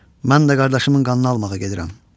Mən də qardaşımın qanını almağa gedirəm.